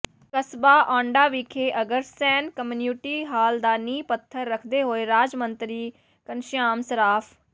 ਕਸਬਾ ਔਢਾਂ ਵਿਖੇ Agrasen community hall ਦਾ ਨੀਂਹ ਪੱਥਰ ਰੱਖਦੇ ਹੋਏ ਰਾਜ ਮੰਤਰੀ ਘਨਸ਼ਿਆਮ ਸਰਾਫ਼